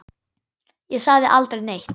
Ég sagði aldrei neitt.